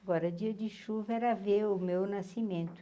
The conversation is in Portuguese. Agora, dia de chuva era ver o meu nascimento.